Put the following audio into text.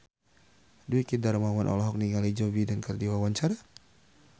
Dwiki Darmawan olohok ningali Joe Biden keur diwawancara